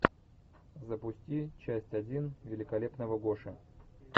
запусти часть один великолепного гоши